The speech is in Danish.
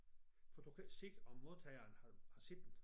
For du kan ikke se om modtageren har set den